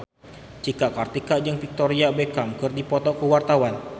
Cika Kartika jeung Victoria Beckham keur dipoto ku wartawan